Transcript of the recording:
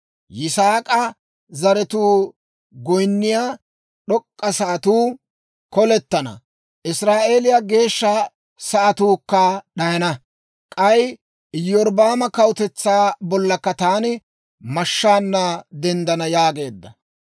Yisaak'a zaratuu goyinniyaa d'ok'k'a sa'atuu kolettana; Israa'eeliyaa geeshsha sa'atuukka d'ayana; k'ay Iyorbbaama kawutetsaa bollakka taani mashshaanna denddana» yaageedda.